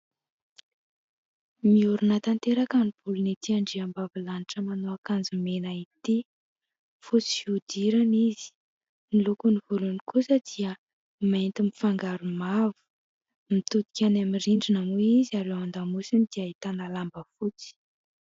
Miorina tanteraka ny volony ity andriambavilanitra manao akanjo mena ity, fotsy fihodirana izy. Ny loko ny volony kosa dia mainty mifangaro mavo. Mitodika any amin'ny rindrina moa izy ary eo an-damosiny dia ahitana lamba fotsy.